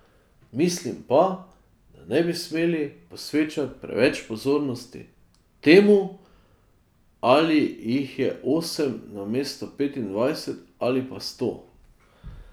Mislim pa, da ne bi smeli posvečati preveč pozornosti temu, ali jih je osem namesto petindvajset ali pa sto.